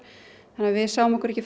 þannig að við sáum okkur ekki